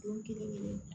Don kelen kelen